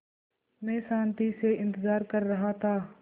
मैं शान्ति से इंतज़ार कर रहा था